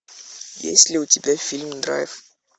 есть ли у тебя фильм драйв